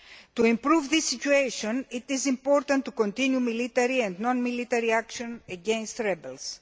To improve this situation, it is important to continue military and non military action against the rebels.